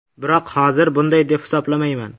Biroq hozir bunday deb hisoblamayman.